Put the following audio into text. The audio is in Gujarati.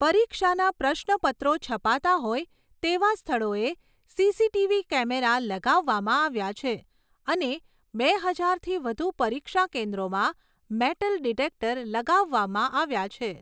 પરીક્ષાના પ્રશ્નપત્રો છપાતા હોય તેવા સ્થળોએ સીસીટીવી કેમેરા લગાવવામાં આવ્યા છે અને બે હજારથી વધુ પરીક્ષા કેન્દ્રોમાં મેટલ ડિટેક્ટર લગાવવામાં આવ્યા છે.